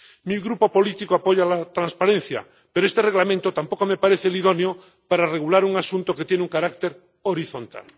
Mi grupo político apoya la transparencia, pero este Reglamento tampoco me parece el idóneo para regular un asunto que tiene un carácter horizontal.